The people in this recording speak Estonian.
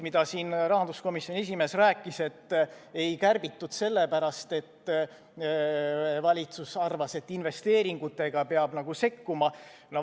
Rahanduskomisjoni esimees siin rääkis, et kulusid ei kärbitud sellepärast, et valitsus arvas, et investeeringutega peab sekkuma.